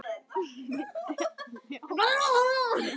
Mynd að ljósi?